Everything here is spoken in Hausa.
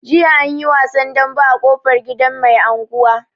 Jiya anyi wasan dambe a ƙofar gidan mai anguwa.